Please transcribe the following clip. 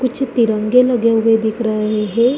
कुछ तिरंगे लगे हुए दिख रहे हैं।